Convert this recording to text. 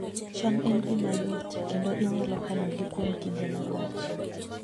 cham en gima yot, kendo inyalo kanogi kuom kinde malach